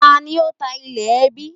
Ta ni ó ta ilẹ̀ ẹbí?